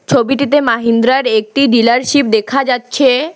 ছবিটিতে মাহিন্দ্রার একটি ডিলারশিপ দেখা যাচ্ছে।